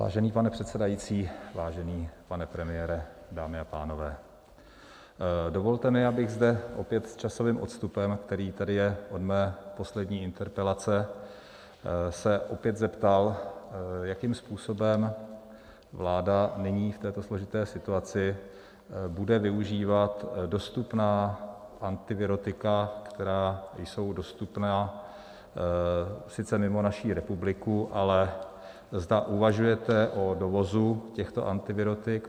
Vážený pane předsedající, vážený pane premiére, dámy a pánové, dovolte mi bych, zde opět s časovým odstupem, který tady je od mé poslední interpelace, se opět zeptal, jakým způsobem vláda nyní v této složité situaci bude využívat dostupná antivirotika, která jsou dostupná sice mimo naši republiku, ale zda uvažujete o dovozu těchto antivirotik.